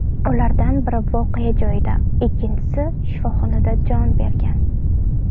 Ulardan biri voqea joyida, ikkinchisi shifoxonada jon bergan.